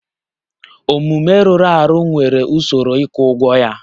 Omume rụrụ arụ nwere usoro ịkwụ ụgwọ ya